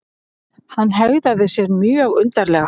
Hann hegðaði sér mjög undarlega.